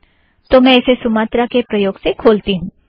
तो मैं इसे सुमत्रा के प्रयोग से खोलती हूँ